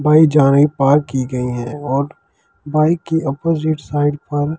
Bike जहाँ ये park की गई है बाइक के अपोजिट साइड पर।